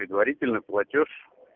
предварительно платёж